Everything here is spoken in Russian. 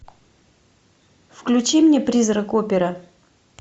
включи мне призрак оперы